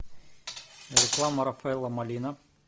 реклама рафаэлло малина